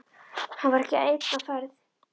Hann var ekki einn á ferð.